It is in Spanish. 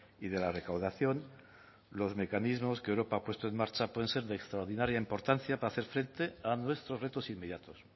y de la recaudación los mecanismos que europa ha puesto en marcha pueden ser de extraordinaria importancia para hacer frente a nuestros retos inmediatos